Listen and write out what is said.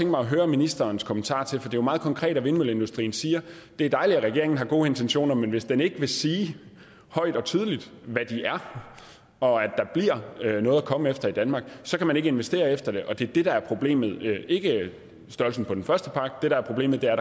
mig at høre ministerens kommentarer til for det er jo meget konkret når vindmølleindustrien siger at det er dejligt at regeringen har gode intentioner men hvis den ikke vil sige højt og tydeligt hvad de er og at der bliver noget at komme efter i danmark så kan man ikke investere efter det det er det der er problemet det er ikke størrelsen på den første pakke det der er problemet er